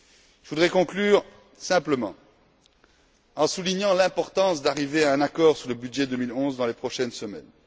Je voudrais conclure simplement en soulignant l'importance d'arriver à un accord sur le budget 2011 dans les prochaines semaines.